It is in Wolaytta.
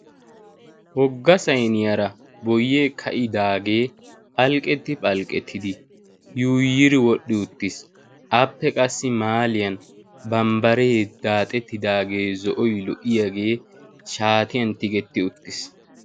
wogga sayniyaara boyee ka'idaagee phalqqetti phalqqettidi yuuyiri wodhdhi uttiis appe qassi maaliyan bambbaree daaxettidaagee zo'oi lo''iyaagee shaatiyan tigetti uttiis